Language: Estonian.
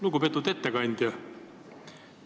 Lugupeetud ettekandja!